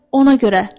Ona görə.